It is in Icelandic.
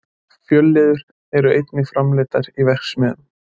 Fjölliður eru einnig framleiddar í verksmiðjum.